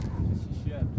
Şiyə!